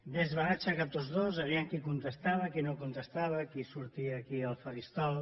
bé es van aixecar tots dos vejam qui contestava qui no contestava qui sortia aquí al faristol